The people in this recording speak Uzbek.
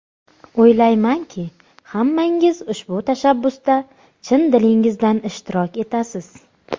O‘ylaymanki, hammangiz ushbu tashabbusda chin dilingizdan ishtirok etasiz.